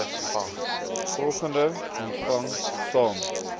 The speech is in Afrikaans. volgende ontvang saam